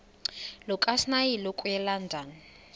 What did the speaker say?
lukasnail okuya elondon